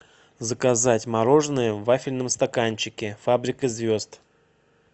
заказать мороженое в вафельном стаканчике фабрика звезд